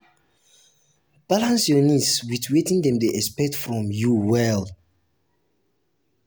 balance your own needs with wetin dem dey expect from dey expect from you well.